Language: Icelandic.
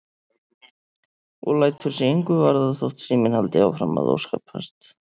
Og lætur sig engu varða þótt síminn haldi áfram að óskapast.